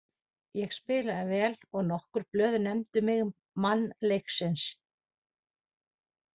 Ég spilaði vel og nokkur blöð nefndu mig mann leiksins.